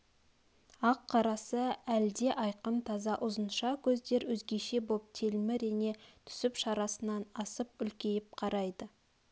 ақ-қарасы әл де айқын таза ұзынша көздер өзгеше боп телміре түсіп шарасынан асып үлкейіп қарайды